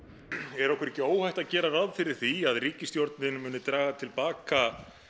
er okkur ekki óhætt að gera ráð fyrir því að ríkisstjórnin muni draga til baka